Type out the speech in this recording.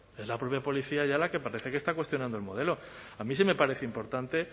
es la propia policía ya la que parece que está cuestionando el modelo a mí sí me parece importante